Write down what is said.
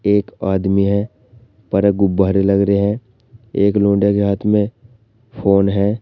एक आदमी है ऊपर गुब्बारे लग रहे हैं एक लौंडे के हाथ में फोन है।